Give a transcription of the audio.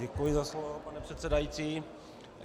Děkuji za slovo, pane předsedající.